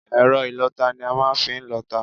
Ẹ̀rọ ìlọta ni a màa n fi n lọta